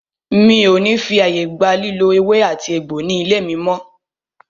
Mi o ní fí ààyè gba lílò ewé àti egbò ní ilé mí mọ́!